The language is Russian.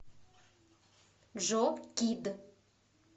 джо кид